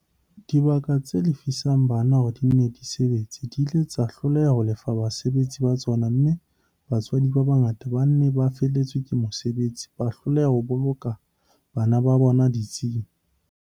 Dibaka tse lefisang bana hore di nne di sebetse di ile tsa hloleha ho lefa basebetsi ba tsona mme batswadi ba bangata ba neng ba felletswe ke mosebetsi ba hloleha ho boloka bana ba bona ditsing.